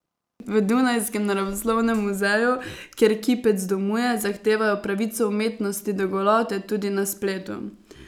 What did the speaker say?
V dunajskem Naravoslovnem muzeju, kjer kipec domuje, zahtevajo pravico umetnosti do golote, tudi na spletu.